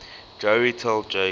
joey tell jake